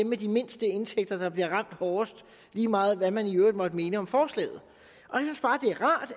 med de mindste indtægter der bliver ramt hårdest lige meget hvad man i øvrigt måtte mene om forslaget